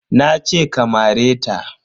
Nace ka mare ta.